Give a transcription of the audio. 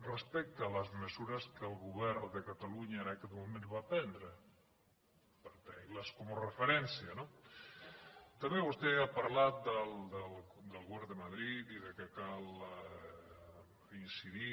respecte a les mesures que el govern de catalunya en aquell moment va prendre per tenir les com a referència no també vostè ha parlat del govern de madrid i que cal incidir